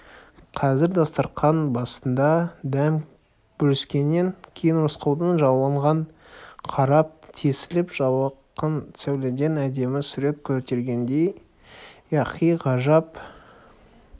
қазір дастарқан басында дәм бөліскеннен кейін рысқұлдың жалынға қарап тесіліп жалқын сәуледен әдемі сурет көргендей яки бір ғажайып